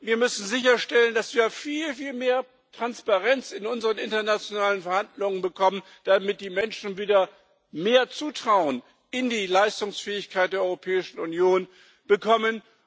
Wir müssen sicherstellen, dass wir viel mehr Transparenz in unseren internationalen Verhandlungen bekommen, damit die Menschen wieder mehr Zutrauen in die Leistungsfähigkeit der Europäischen Union bekommen.